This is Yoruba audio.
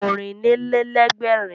Ọ̀rìnlélẹ́ẹ̀dẹ́gbèrin ṣáájú Ẹgbẹ̀rin